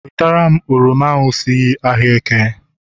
Wetara m oroma ahụ si ahịa eke!